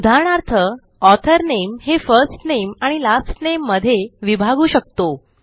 उदाहरणार्थ ऑथर नामे हे फर्स्ट नामे आणि लास्ट Nameमध्ये विभागू शकतो